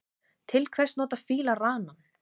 Til hvers nota fílar ranann?